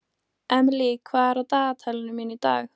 Emely, hvað er á dagatalinu mínu í dag?